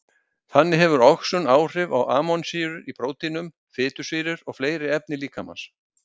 Þannig hefur oxun áhrif á amínósýrur í próteinum, fitusýrur og fleiri efni líkamans.